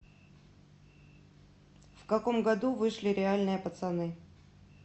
в каком году вышли реальные пацаны